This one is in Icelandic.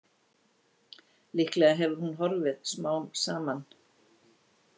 Líklega hefur hún horfið smám saman.